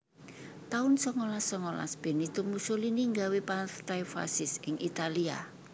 taun songolas songolas Benito Mussolini nggawé Partai Fasis ing Italia